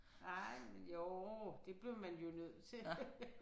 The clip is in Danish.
Ej men jo det blev man jo nødt til